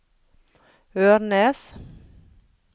Ørnes